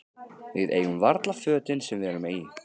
Við eigum varla fötin sem við erum í.